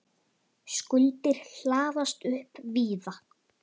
Skuldir hlaðast upp víða.